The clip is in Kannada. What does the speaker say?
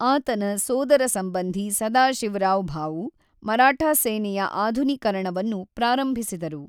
ಆತನ ಸೋದರಸಂಬಂಧಿ ಸದಾಶಿವರಾವ್ ಭಾವು ಮರಾಠ ಸೇನೆಯ ಆಧುನೀಕರಣವನ್ನು ಪ್ರಾರಂಭಿಸಿದರು.